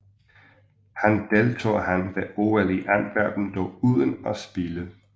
Han deltog han ved OL i Antwerpen dog uden at spille